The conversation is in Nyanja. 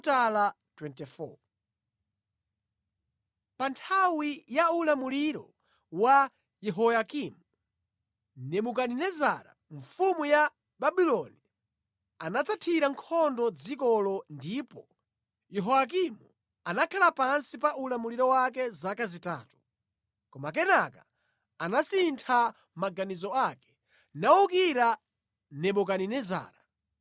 Pa nthawi ya ulamuliro wa Yehoyakimu, Nebukadinezara mfumu ya Babuloni anadzathira nkhondo dzikolo ndipo Yehoyakimu anakhala pansi pa ulamuliro wake zaka zitatu. Koma kenaka anasintha maganizo ake nawukira Nebukadinezara.